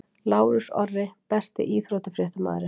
Lárus Orri Besti íþróttafréttamaðurinn?